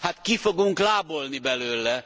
Hát ki fogunk lábolni belőle!